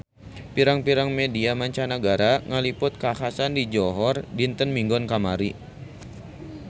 Pirang-pirang media mancanagara ngaliput kakhasan di Johor dinten Minggon kamari